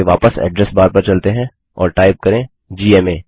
चलिए वापस address bar पर चलते हैं और टाइप करें जीएमए